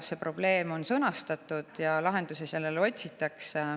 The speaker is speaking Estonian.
See probleem on sõnastatud ja lahendusi otsitakse.